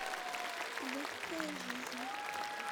легкая жизнь